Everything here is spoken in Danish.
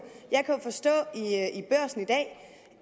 forstå